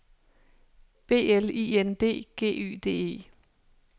B L I N D G Y D E